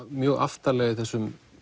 mjög aftarlega í þessum